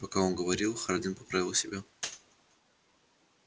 пока он говорил хардин поправил себя